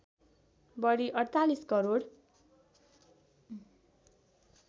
बढी ४८ करोड